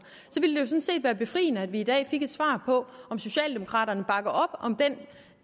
ville det set være befriende at vi i dag fik et svar på om socialdemokraterne bakker op om den